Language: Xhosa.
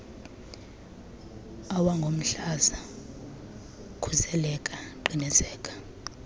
awangomhlaza khuseleka qiniseka